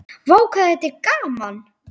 Vá hvað þetta var gaman!!